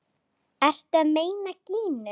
Ertu að meina Gínu?